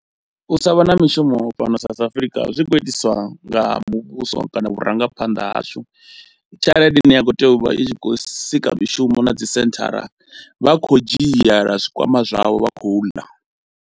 U sa vha na mishumo fhano South Africa zwi khou itiswa nga muvhuso kana vhurangaphanḓa hashu, tshelede ine ya khou tea u vha i khou sika mishumo na dzi senthara vha kho dzhiela zwikwama zwavho vha khou ḽa.